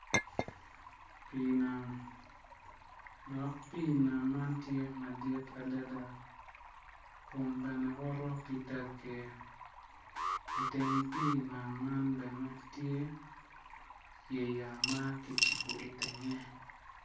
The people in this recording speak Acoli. Pii nam, dok pii nam man tye madit adada kun bene woto ki tagge i teng pii nam man bene tye yeya ma kicibo i tenge.